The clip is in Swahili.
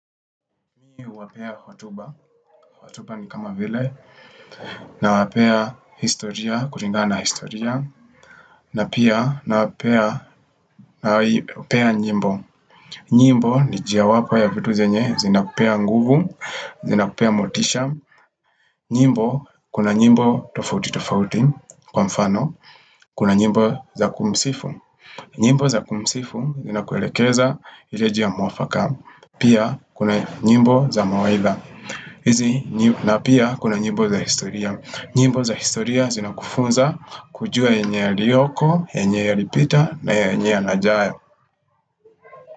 Nini uwapea hotuba, hotuba ni kama vile, nawapea historia, kulingana na historia na pia nawapea, na wapea nyimbo nyimbo ni njia wapo ya vitu zenye, zina kupea nguvu, zina kupea motisha nyimbo, kuna nyimbo tofauti tofauti kwa mfano Kuna nyimbo za kumsifu nyimbo za kumsifu zina kuelekeza ile njia mwafaka Pia, kuna nyimbo za mawaidha hizi na pia kuna nyimbo za historia nyimbo za historia zina kufunza kujua yenye yaliyoko, yenye yalipita na yenye yaajayo.